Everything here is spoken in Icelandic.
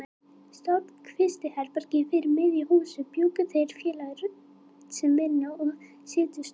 Stórt kvistherbergi fyrir miðju húsinu bjuggu þeir félagar út sem vinnu- og setustofu.